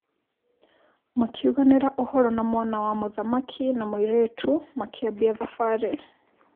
Makiũganĩra ũhoro na mwana wa mũthamaki na mũirĩtu makiambia thabarĩ.